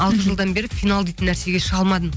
алты жылдан бері финал дейтін нәрсеге шыға алмадым